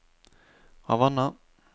Havanna